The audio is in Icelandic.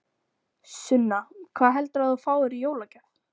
Sunna: Hvað heldurðu að þú fáir í jólagjöf?